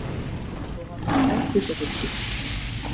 Stofan var troðfull af fólki.